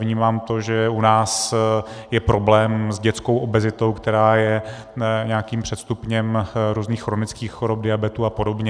Vnímám to, že u nás je problém s dětskou obezitou, která je nějakým předstupněm různých chronických chorob, diabetu a podobně.